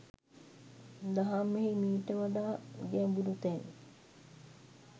දහමෙහි මීට වඩා ගැඹුරු තැන්